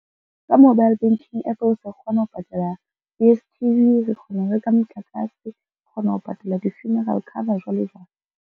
Ka mobile banking app o ka kgona ho patala D_S_T_V, re kgona ho reka motlakase, re kgona ho patala di-funeral cover jwalo jwalo.